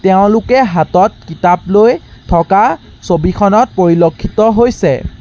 তেওঁলোকে হাতত কিতাপ লৈ থকা ছবিখনত পৰিলক্ষিত হৈছে।